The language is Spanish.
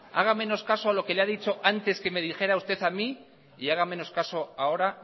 haga menos caso a lo que le ha dicho antes que me dijera usted a mí y haga menos caso ahora